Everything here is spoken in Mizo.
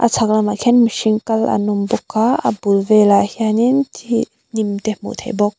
chhak lamah khian mihring kal an awm bawk a a bul velah hian in thi hnim te hmuh theih bawk.